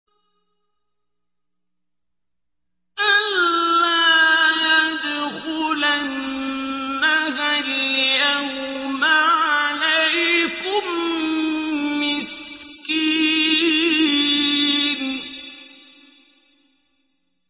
أَن لَّا يَدْخُلَنَّهَا الْيَوْمَ عَلَيْكُم مِّسْكِينٌ